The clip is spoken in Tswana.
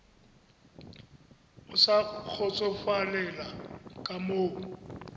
o sa kgotsofalela ka moo